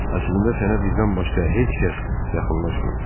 Əslində sənə bizdən başqa heç kəs yaxınlaşmayıb.